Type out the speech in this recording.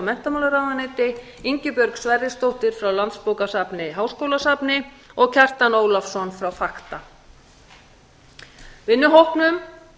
menntamálaráðuneyti ingibjörg sverrisdóttir frá landsbókasafni háskólabókasafni og kjartan ólafsson frá fakta vinnuhópnum